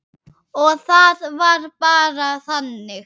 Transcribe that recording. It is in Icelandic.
Og það var bara þannig.